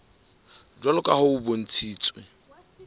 jwalo ka ha ho bontshitswe